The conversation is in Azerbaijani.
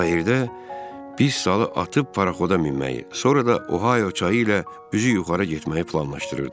Kayirdə pis salı atıb paraxoda minməyi, sonra da Ohayo çayı ilə üzü yuxarı getməyi planlaşdırırdıq.